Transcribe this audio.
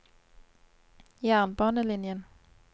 jernbanelinjen